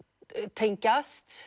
tengjast